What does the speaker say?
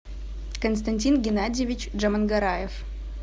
константин геннадьевич джамангараев